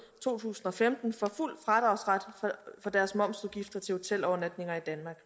to tusind og femten får fuld fradragsret for deres momsudgifter til hotelovernatninger i danmark